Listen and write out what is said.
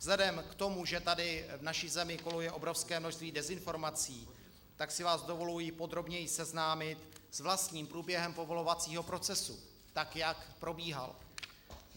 Vzhledem k tomu, že tady v naší zemi koluje obrovské množství dezinformací, tak si vás dovoluji podrobněji seznámit s vlastním průběhem povolovacího procesu, tak jak probíhal.